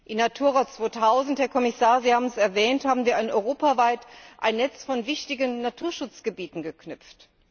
In Natura 2000 Herr Kommissar, Sie haben es erwähnt haben wir europaweit ein Netz von wichtigen Naturschutzgebieten geknüpft.